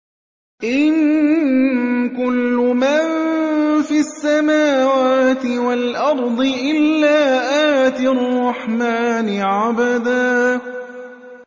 إِن كُلُّ مَن فِي السَّمَاوَاتِ وَالْأَرْضِ إِلَّا آتِي الرَّحْمَٰنِ عَبْدًا